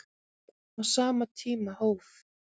Á sama tíma hóf